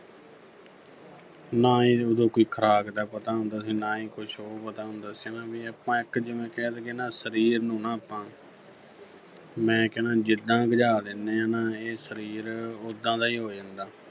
ਨਾ ਉਦੋਂ ਕੋਈ ਖੁਰਾਕ ਦਾ ਪਤਾ ਹੁੰਦਾ ਸੀਗਾ ਨਾ ਈ ਕੁੱਝ ਹੋਰ ਪਤਾ ਹੁੰਦਾ ਸੀਗਾ ਵੀ ਆਪਾਂ ਇੱਕ ਜਿਵੇਂ ਕਹਿ ਦੇਈਏ ਨਾ ਸਰੀਰ ਨੂੰ ਨਾ ਆਪਾਂ ਮੈਂ ਕਹਿਨਾ ਜਿੱਦਾਂ ਗਜ਼ਾ ਦੇਨੇ ਆਂ ਨਾ ਇਹ ਸਰੀਰ ਉੱਦਾਂ ਦਾ ਈ ਹੋ ਜਾਂਦਾ।